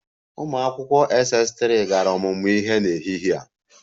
Ụmụ akwụkwọ Ss3 gara ọmụmụ ihe n'ehihie a?